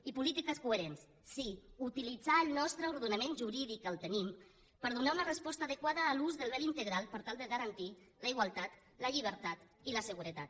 i polítiques coherents sí utilitzar el nostre ordenament jurídic que el tenim per donar una resposta adequada a l’ús del vel integral per tal de garantir la igualtat la llibertat i la seguretat